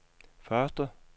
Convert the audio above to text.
første